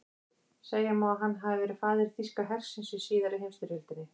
Segja má að hann hafi verið faðir þýska hersins í síðari heimsstyrjöldinni.